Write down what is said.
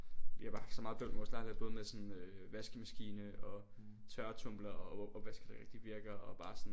Vi har bare haft så meget bøvl med vores lejlighed både med sådan øh vaskemaskine og tørretumbler og opvaske der bare sådan ikke rigtig virker og bare sådan